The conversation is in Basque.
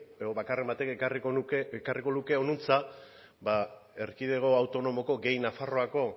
edo bakarren batek ekarriko luke honantza erkidego autonomoko gehi nafarroako